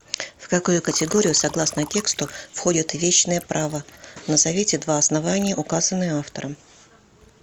в какую категорию согласно тексту входят вещные права назовите два основания указанные автором